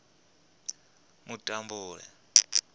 mutambule